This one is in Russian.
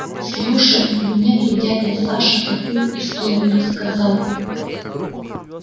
слушай мне тут дядя саша такую историю рассказал